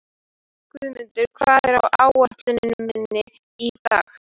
Guðmunda, hvað er á áætluninni minni í dag?